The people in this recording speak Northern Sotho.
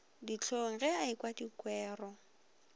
dihlong ge a ekwa dikwero